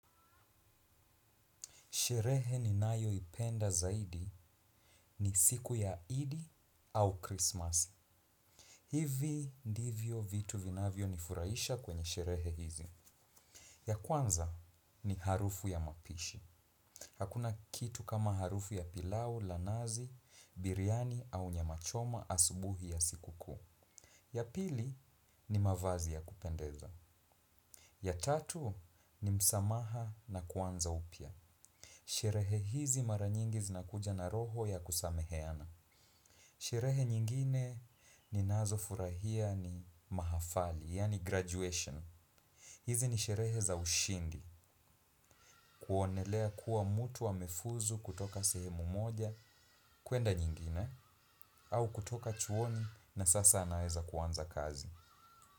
Sherehe ninayoipenda zaidi ni siku ya Idi au Christmas. Hivi ndivyo vitu vinavyo nifurahisha kwenye sherehe hizi. Ya kwanza ni harufu ya mapishi. Hakuna kitu kama harufu ya pilau la nazi, biriani au nyama choma asubuhi ya siku kuu. Ya pili ni mavazi ya kupendeza. Ya tatu ni msamaha na kuanza upya. Sherehe hizi mara nyingi zinakuja na roho ya kusameheana. Sherehe nyingine ninazofurahia ni mahafali, yaani graduation. Hizi ni sherehe za ushindi, kuonelea kuwa mtu amefuzu kutoka sehemu moja, kuenda nyingine. Au kutoka chuoni na sasa anaweza kuanza kazi.